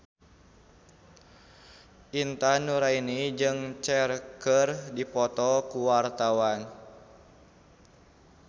Intan Nuraini jeung Cher keur dipoto ku wartawan